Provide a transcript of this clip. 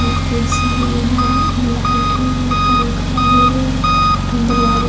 ए. C. हे इहा light हे पंखा हे एक ठन दरवाजा--